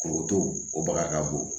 Kuru to o baga ka bon